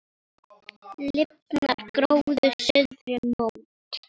Lifnar gróður suðri mót.